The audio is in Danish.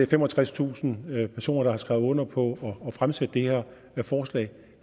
femogtredstusind personer der har skrevet under på at fremsætte det her forslag